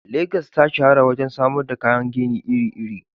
Legas ta shahara wajen samar da kayan gini iri-iri.